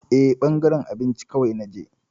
Eh, ɓangaren abinci kawai na je.